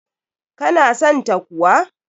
Ka na san ta kuwa?